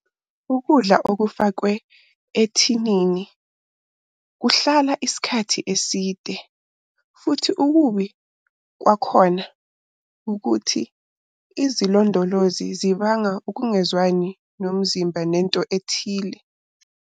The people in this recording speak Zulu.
Ukudla okufakwe ethinini kuhlala isikhathi eside futhi ukubi kwakhona ukuthi izilondolozi zibanga ukungezwani nomzimba nento ethile.